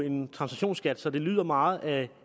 en transaktionsskat så det lyder meget af at